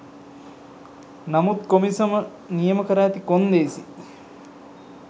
නමුත් කොමිසම නියම කර ඇති කොන්දේසි